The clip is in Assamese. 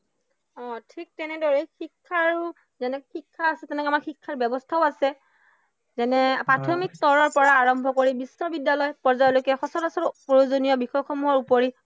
অ ঠিক তেনেদৰেই শিক্ষা আৰু যেনেদৰে শিক্ষা আছে তেনেদৰে আমাৰ শিক্ষাৰ ব্য়ৱস্থাও আছে। যেনে প্ৰাথমিক স্তৰৰ পৰা আৰম্ভ কৰি বিশ্ববিদ্য়ালয় পৰ্যায়ৰলৈকে সচৰাচৰ প্ৰয়োজনীয় বিষয়সমূহৰ উপৰি